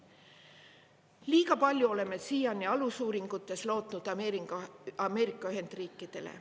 Liiga palju oleme siiani alusuuringutes lootnud Ameerika Ühendriikidele.